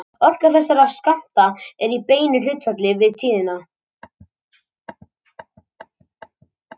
Orka þessara skammta er í beinu hlutfalli við tíðnina.